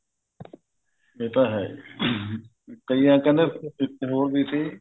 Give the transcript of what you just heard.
ਇਹ ਤਾਂ ਹੈ ਕਈਆਂ ਕਹਿੰਦੇ ਇੱਕ ਹੋਰ ਵੀ ਸੀ